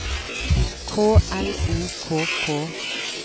K L O K K